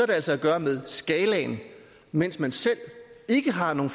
det altså at gøre med skalaen mens man selv ikke har nogen